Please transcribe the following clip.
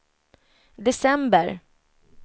december